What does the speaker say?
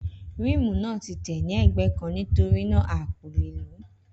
Ríímù náà tí tẹ̀ ní ègbé kàn nítorínà a ko le lo